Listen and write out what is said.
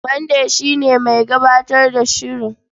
Mande shi ne mai gabatar da shirin.